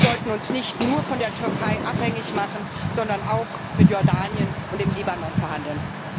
Wir sollten uns nicht nur von der Türkei abhängig machen, sondern auch mit Jordanien und dem Libanon verhandeln.